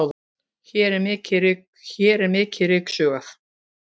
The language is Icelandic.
hér er mikið ryksugað